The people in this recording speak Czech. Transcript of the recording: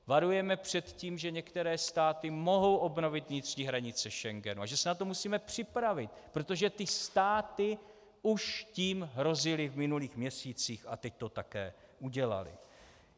Varujeme před tím, že některé státy mohou obnovit vnitřní hranice Schengenu a že se na to musíme připravit, protože ty státy už tím hrozily v minulých měsících a teď to také udělaly.